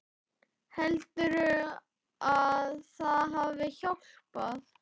Heldurðu að það hafi hjálpað?